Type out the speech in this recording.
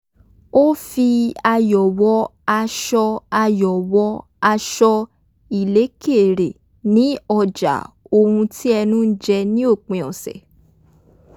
ó fi ayò̩ wọ aṣọ ayò̩ wọ aṣọ ìlékè re ní ọjà ohun tí ẹnu ń jẹ ní òpin ọ̀sẹ̀